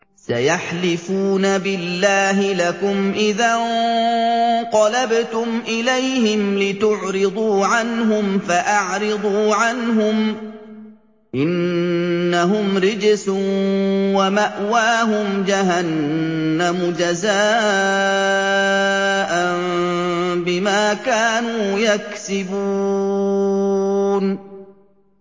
سَيَحْلِفُونَ بِاللَّهِ لَكُمْ إِذَا انقَلَبْتُمْ إِلَيْهِمْ لِتُعْرِضُوا عَنْهُمْ ۖ فَأَعْرِضُوا عَنْهُمْ ۖ إِنَّهُمْ رِجْسٌ ۖ وَمَأْوَاهُمْ جَهَنَّمُ جَزَاءً بِمَا كَانُوا يَكْسِبُونَ